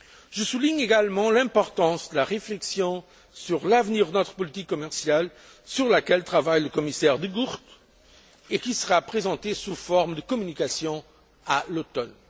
Je soulignerai également l'importance de la réflexion sur l'avenir de notre politique commerciale, sur laquelle travaille le commissaire De Gucht et qui sera présentée sous forme de communication à l'automne.